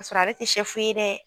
Ka sɔrɔ ale te sɛfu ye dɛ